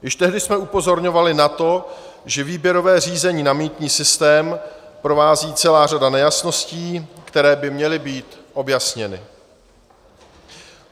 Již tehdy jsme upozorňovali na to, že výběrové řízení na mýtný systém provází celá řada nejasností, které by měly být objasněny.